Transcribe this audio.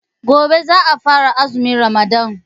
Gobe ​​za a fara azumin Ramadan.